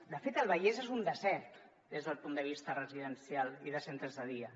de fet el vallès és un desert des del punt de vista residencial i de centres de dia